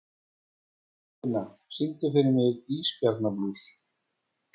Eirfinna, syngdu fyrir mig „Ísbjarnarblús“.